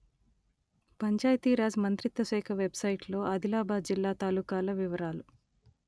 పంచాయతీ రాజ్ మంత్రిత్వ శాఖ వెబ్‌సైటులో ఆదిలాబాదు జిల్లా తాలూకాల వివరాలు